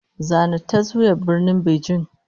Zana taswirar Birnin Beijing!